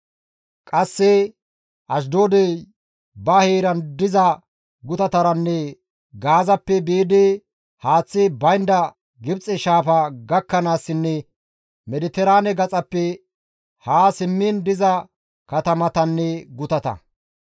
qasse Ashdoodey ba heeran diza gutataranne Gaazappe biidi haaththi baynda Gibxe shaafa gakkanaassinne Mediteraane gaxappe haa simmiin diza katamatanne gutata.